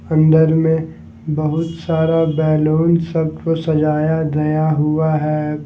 अंदर में बहुत सारा बैलून सबको सजाया गया हुआ है।